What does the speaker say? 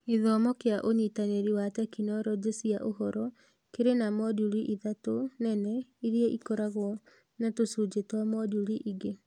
Gĩthomo kĩa ũnyitanĩri wa tekinoronjĩ cia ũhoro kĩrĩ na moduli ithatũ nene iria ikoragwo na tũcunjĩ twa moduli ingĩ.